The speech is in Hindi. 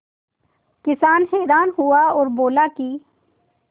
किसान हैरान हुआ और बोला कि